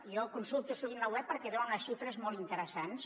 jo en consulto sovint la web perquè dona unes xifres molt interessants